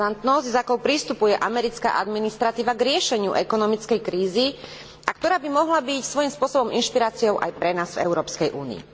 Razantnosť s akou pristupuje americká administratíva k riešeniu ekonomickej krízy a ktorá by mohla byť svojim spôsobom inšpiráciou aj pre nás v Európskej únii.